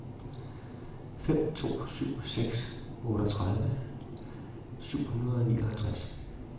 fem to syv seks otteogtredive syv hundrede og nioghalvtreds